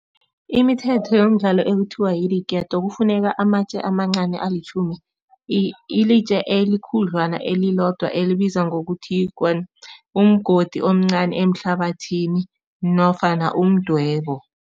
Imithetho yomdlalo ekuthiwa idiketo, kufuneka amatje amancani alitjhumi. Ilitje elikhudlwana elilodwa elibizwa ngokuthi umgodi omncani ehlabathini nofana umdwebo.